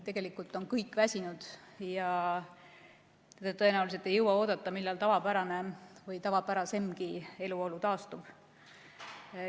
Tegelikult on kõik väsinud ja tõenäoliselt ei jõua oodata, millal tavapärane või tavapärasemgi eluolu taastub.